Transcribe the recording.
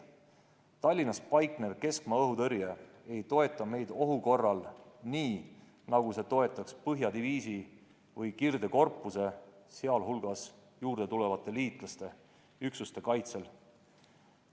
Tallinnas paiknev keskmaa-õhutõrje ei toeta meid ohu korral nii, nagu see toetaks põhjadiviisi või kirdekorpuse, sh juurde tulevate liitlaste üksuste kaitsel.